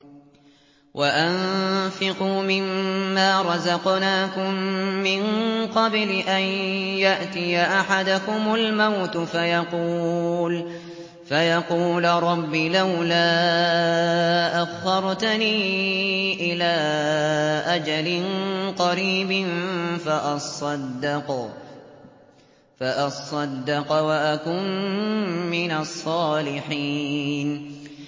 وَأَنفِقُوا مِن مَّا رَزَقْنَاكُم مِّن قَبْلِ أَن يَأْتِيَ أَحَدَكُمُ الْمَوْتُ فَيَقُولَ رَبِّ لَوْلَا أَخَّرْتَنِي إِلَىٰ أَجَلٍ قَرِيبٍ فَأَصَّدَّقَ وَأَكُن مِّنَ الصَّالِحِينَ